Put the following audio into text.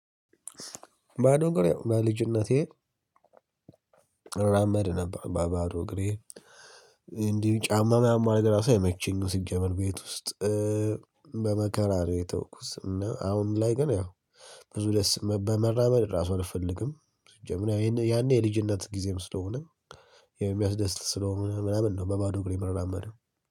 ባዶ እግር ያው ባልጅነቴ እራመድ ነበር በባዶ እግሬ እንዲህም ጫማ ምናምን ማድረግ ራሱ አይመቸኝምሲጀመር ቤት ውስጥ በመከራ ነው የተውሁትአሁን። ላይ ግን ያው ብዙ ደስ በመራመድ ራሱ አልፈልግም። ያኔ የልጅነት ጊዜም ስለሆነ የሚያስደስት ስለሆነ ምናምን ነው በባዶ እግሬ የምራመደው